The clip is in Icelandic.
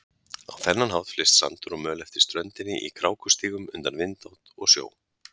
Á þennan hátt flyst sandur og möl eftir ströndinni í krákustígum undan vindátt og sjó.